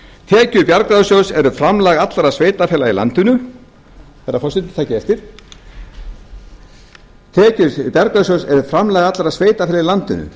tekjur bjargráðasjóðs eru framlag allra sveitarfélaga í landinu herra forseti takið eftir tekjur bjargráðasjóðs eru framlag allra sveitarfélaga í landinu